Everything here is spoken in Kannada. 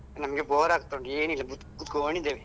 ನಮಗೆ bore ಆಗ್ತಾ ಉಂಟು ಏನಿಲ್ಲಾ ಕುತ್ಕೊಂಡಿದ್ದೇವೆ.